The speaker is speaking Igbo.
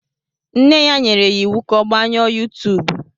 Nne ya nyere ya iwu ka ọ gbanyụọ yuutubu.